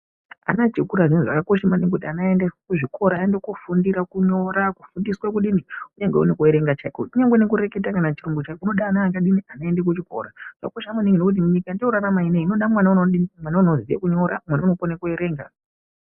Ana echikura zviya zvakakosha maningi kuti ana aendeswe kuzvikora aende koofundira kunyora kufundiswa kudii kunyange nekuerenga chaiko kunyange nekureketa kana chirungu chaiko kunoda ana akadii akaenda kuchikora. Zvakosha maningi ngokti munyika yatinorarama inoda mwana unodii mwana unoziya kunyora mwana unokone kuerenga.